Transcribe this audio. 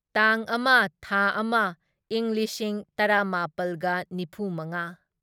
ꯇꯥꯡ ꯑꯃ ꯊꯥ ꯑꯃ ꯢꯪ ꯂꯤꯁꯤꯡ ꯇꯔꯥꯃꯥꯄꯜꯒ ꯅꯤꯐꯨꯃꯉꯥ